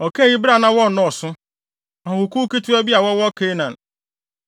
Ɔkaa eyi bere a na wɔnnɔɔso, ahɔhokuw ketewa bi a wɔwɔ Kanaan.